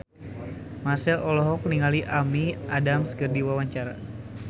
Marchell olohok ningali Amy Adams keur diwawancara